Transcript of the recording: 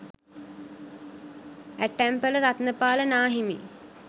ඇටැම්පල රතනපාල නා හිමි.